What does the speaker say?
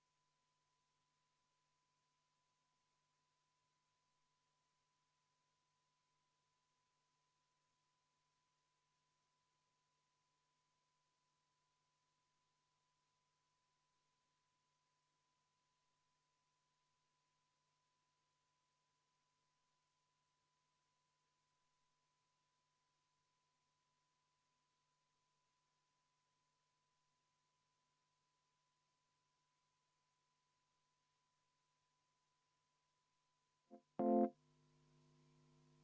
Nüüd me jõudsime selle muudatusettepaneku juurde, mille juurde mina jõudsin veidi ennatlikult ja